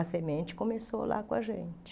A semente começou lá com a gente.